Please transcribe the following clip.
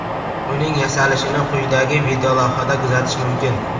Uning yasalishini quyidagi videolavhada kuzatish mumkin.